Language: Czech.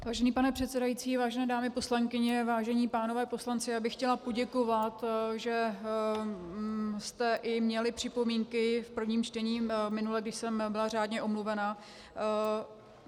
Vážený pane předsedající, vážené dámy poslankyně, vážení pánové poslanci, já bych chtěla poděkovat, že jste i měli připomínky v prvním čtení minule, když jsem byla řádně omluvena.